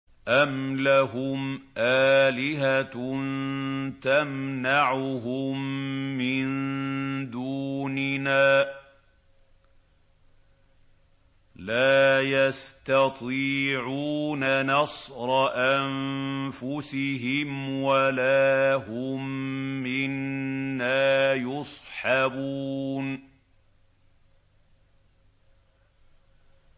أَمْ لَهُمْ آلِهَةٌ تَمْنَعُهُم مِّن دُونِنَا ۚ لَا يَسْتَطِيعُونَ نَصْرَ أَنفُسِهِمْ وَلَا هُم مِّنَّا يُصْحَبُونَ